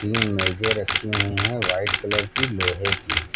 तीन मेजे रखी हुई है व्हाइट कलर की लोहे की।